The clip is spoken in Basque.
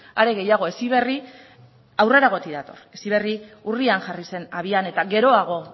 are gehiago heziberri aurreragotik dator heziberri urrian jarri zen abian eta geroago